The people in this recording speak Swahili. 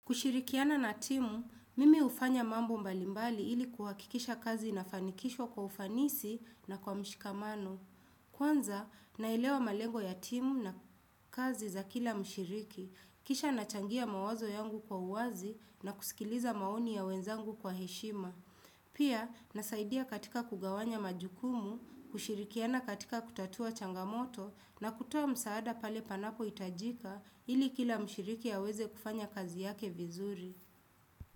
Kushirikiana na timu, mimi ufanya mambo mbalimbali ili kuhakikisha kazi na fanikisha kwa ufanisi na kwa mshikamano. Kwanza, nailewa malengo ya timu na kazi za kila mshiriki. Kisha nachangia mawazo yangu kwa uwazi na kusikiliza maoni ya wenzangu kwa heshima. Pia, nasaidia katika kugawanya majukumu, kushirikiana katika kutatua changamoto na kutua msaada pale panako itajika ili kila mshiriki ya weze kufanya kazi yake vizuri.